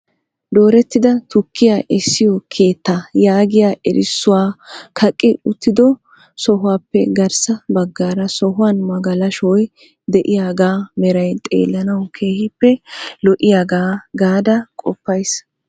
Dooretida tukkiyaa essiyo keetta yaagiyaa erissuwaa kaqqi uttido sohuwappe garssa baggaara sohuwan magalashshoy de'iyaaga meray xeelanaw keehippe lo"iyaaga gaada qopays.